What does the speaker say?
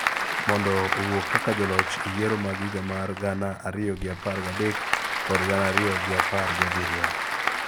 mondo owuok kaka joloch e yiero mag higa mar gana ariyo gi apar gadek kod gana ariyo gi apar g I abiriyo.